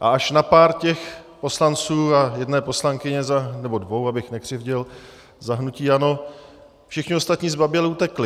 A až na pár těch poslanců a jedné poslankyně, nebo dvou, abych nekřivdil, za hnutí ANO všichni ostatní zbaběle utekli.